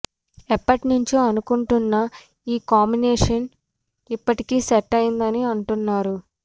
ఎప్పటి నుంచో అనుకుంటున్న ఈ కాంబినేషన్ ఇప్పటికి సెట్ అయిందని అంటున్నారు